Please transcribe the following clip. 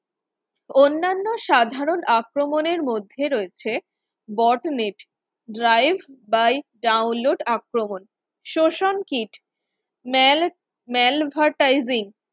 অন্যান্য সাধারণ আক্রমণের মধ্যে রয়েছে brodix drive by download আক্রমণ season kit mal malvertising